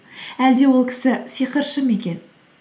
әлде ол кісі сиқыршы ма екен